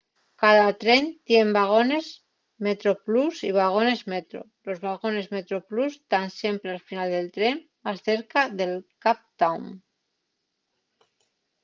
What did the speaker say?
cada tren tien vagones metroplus y vagones metro los vagones metroplus tán siempre al final del tren más cerca de cape town